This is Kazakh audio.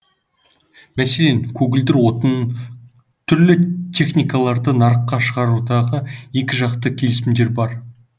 мәселен көгілдір отын түрлі техникаларды нарыққа шығаруда екіжақты келісімдер бар